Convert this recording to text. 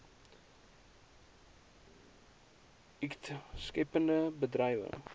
ikt skeppende bedrywe